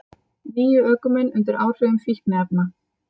Níu ökumenn undir áhrifum fíkniefna